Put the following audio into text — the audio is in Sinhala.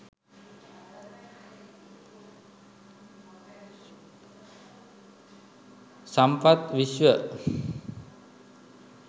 sampath vishwa